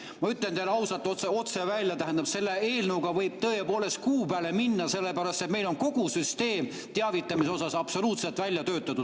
Ma ütlen teile ausalt ja otse välja: tähendab, selle eelnõuga võib tõepoolest kuu peale minna, sellepärast et meil on kogu süsteem teavitamise osas absoluutselt välja töötatud.